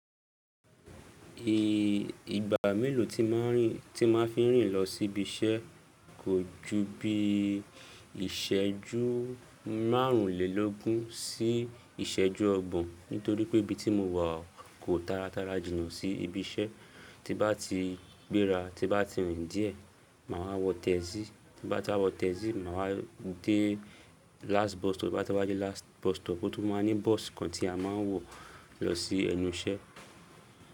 I-igba mélòó tí màá rìn, tí màá fi rìn lọ sí ibi iṣẹ́ kò ju bí ìṣẹ́jú márùnlélógún sí ìṣẹ́jú ọgbọ̀n. Nítorí pé ibi tí mo wà kò tára tára jìnà sí ibi iṣẹ́. Tí bá ti gbéra, tí bá ti rìn díẹ̀, mà wá wọ taxì, tí bá ti wá wọ taxì, màá wa dé last bus stop, tí bá ti wá dé last bus stop, ó tún máa ní bus kan tí a máa wọ̀ lọ sí ẹnu iṣẹ́